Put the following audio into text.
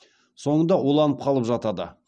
соңында уланып қалып жатады